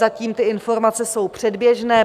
Zatím ty informace jsou předběžné.